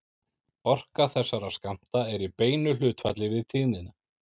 Orka þessara skammta er í beinu hlutfalli við tíðnina.